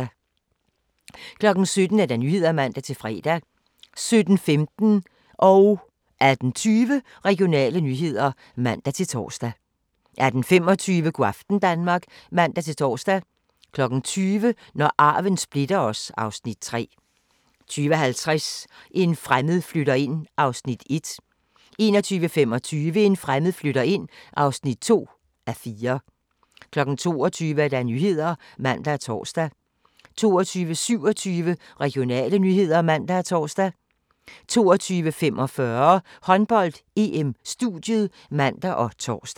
17:00: Nyhederne (man-fre) 17:16: Regionale nyheder (man-fre) 18:20: Regionale nyheder (man-tor) 18:25: Go' aften Danmark (man-tor) 20:00: Når arven splitter os (Afs. 3) 20:50: En fremmed flytter ind (1:4) 21:25: En fremmed flytter ind (2:4) 22:00: Nyhederne (man og tor) 22:27: Regionale nyheder (man og tor) 22:45: Håndbold: EM - studiet (man og tor)